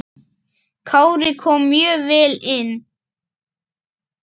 Kári kom mjög vel inn.